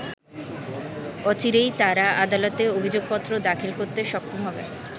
অচিরেই তারা আদালতে অভিযোগপত্র দাখিল করতে সক্ষম হবে।